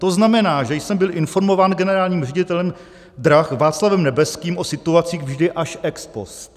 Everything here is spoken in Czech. To znamená, že jsem byl informován generálním ředitelem drah Václavem Nebeským o situaci vždy až ex post.